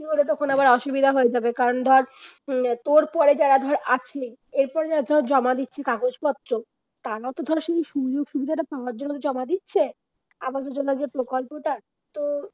তখন আবার অসুবিধা হয়ে যাবে তোর পরে যারা আসলো এরপরে যারা জমা দিয়েছে কাগজপত্র তারা তো ধর শুনছে কাগজপত্র জমা দিয়েছে আমাদের জন্য এই প্রকল্পটা তো